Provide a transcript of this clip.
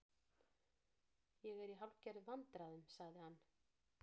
Ég er í hálfgerðum vandræðum- sagði hann.